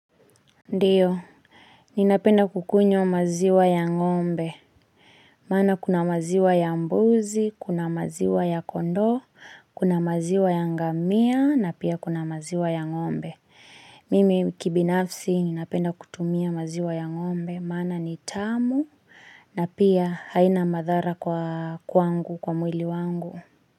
Ndiyo, ninapenda kukunywa maziwa ya ng'ombe maana kuna maziwa ya mbuzi, kuna maziwa ya kondoo, kuna maziwa ya ngamia na pia kuna maziwa ya ng'ombe Mimi kibinafsi ninapenda kutumia maziwa ya ng'ombe, maana ni tamu na pia haina madhara kwangu, kwa mwili wangu.